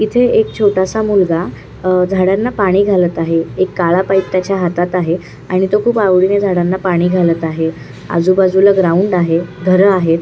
इथे एक छोटासा मुलगा अह झाडांना पाणी घालत आहे एक काळा पाइप त्याच्या हातात आहे आणि तो खूप आवडीने झाडांना पाणी घालात आहे आजूबाजूला ग्राऊंड आहे घर आहे.